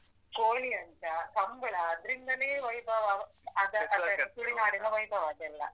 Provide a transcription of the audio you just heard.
ಕೋಳಿಅಂಕ, ಕಂಬ್ಳ ಅದ್ರಿಂದಾನೆ ವೈಭವ ಅದ್ ತುಳುನಾಡಿನ ವೈಭವ ಅದೆಲ್ಲ.